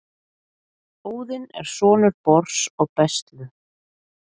Óðinn er sonur Bors og Bestlu.